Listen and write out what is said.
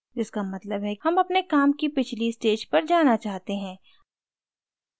जिसका मतलब है हम अपने काम की पिछली stage पर जाना चाहते हैं